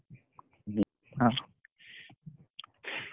ହଁ,